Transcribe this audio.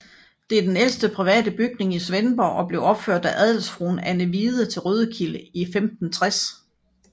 Det er den ældste private bygning i Svendborg og blev opført af adelsfruen Anne Hvide til Rødkilde i 1560